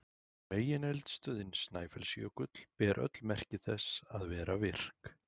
Megineldstöðin Snæfellsjökull ber öll merki þess að vera virk.